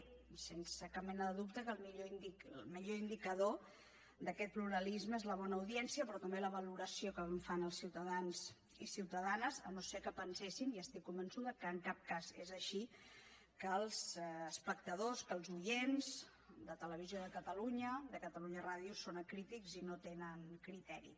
i sense cap mena de dubte el millor indicador d’aquest pluralisme és la bona audiència però també la valoració que en fan els ciutadans i ciutadanes si no és que pensen i estic convençuda que en cap cas és així que els espectadors que els oients de televisió de catalunya de catalunya ràdio són acrítics i no tenen criteri